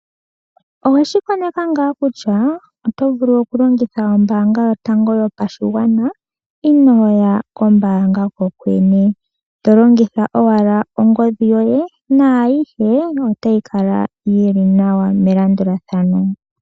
Oweshi koneka ngaa kutya oto vulu okulongitha ombaanga yotango yopashigwana inoo ya kombaanga ko kwene. To longitha owala ongodhi yoye naayihe otayi kala yili nawa melandulathano.